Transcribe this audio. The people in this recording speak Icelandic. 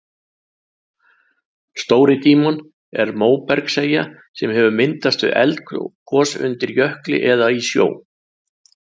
Stóri-Dímon er móbergseyja sem hefur myndast við eldgos undir jökli eða í sjó.